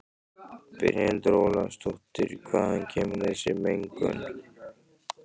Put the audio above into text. Brynhildur Ólafsdóttir: Hvaðan kemur þessi mengun?